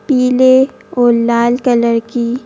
पीले और लाल कलर की--